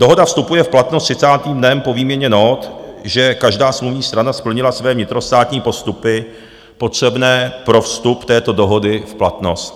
Dohoda vstupuje v platnost 30. dnem po výměně nót, že každá smluvní strana splnila své vnitrostátní postupy potřebné pro vstup této dohody v platnost.